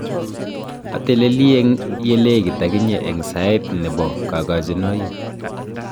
Ateleli eng ye lekit akinye eng sait ne bo kagojinoi.